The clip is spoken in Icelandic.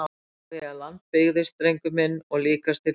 Frá því að land byggðist drengur minn og líkast til lengur!